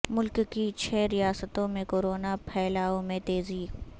ملک کی چھ ریاستوں میں کورونا پھیلاو میں تیزی